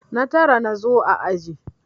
Na tara na zo a aji.